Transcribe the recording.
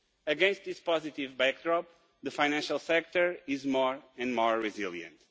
Against this positive backdrop, the financial sector is more and more resilient.